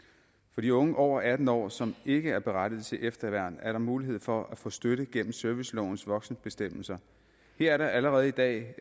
de unge over atten år som ikke er berettiget til efterværn er der mulighed for at få støtte gennem servicelovens voksenbestemmelser her er der allerede i dag